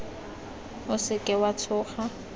o se ka wa tshoga